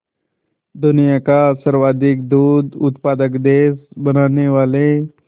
दुनिया का सर्वाधिक दूध उत्पादक देश बनाने वाले